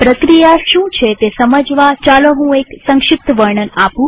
પ્રક્રિયા શું છે તે સમજવા ચાલો હું એક સંક્ષિપ્ત વર્ણન આપું